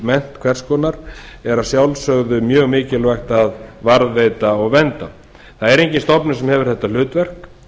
verkmennt hvers konar er að sjálfsögðu mjög mikilvægt að varðveita og vernda engin stofnun hefur þetta hlutverk